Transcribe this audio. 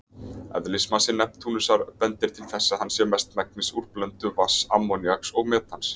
Eðlismassi Neptúnusar bendir til þess að hann sé mestmegnis úr blöndu vatns, ammoníaks og metans.